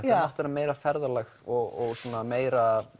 meira ferðalag og meira